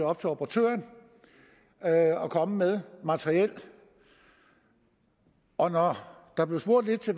op til operatøren at at komme med materiel og når der blev spurgt lidt til